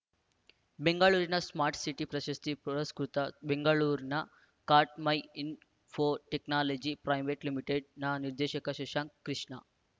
ಬೆಂಗಳೂರಿನ smart city ಪ್ರಶಸ್ತಿ ಪುರಸ್ಕೃತ ಬೆಂಗಳೂರನ ಕಾಟ್‌ಮೈ ಇನ್‌ಫೋ ಟೆಕ್ನಾಲಜಿ ಪ್ರೈ ಲಿನ ನಿರ್ದೇಶಕ ಶಶಾಂಕ್‌ ಕೃಷ್ಣ